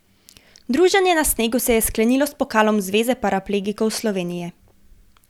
Druženje na snegu se je sklenilo s pokalom Zveze paraplegikov Slovenije.